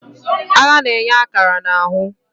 Agha na-enye akara na ahụ.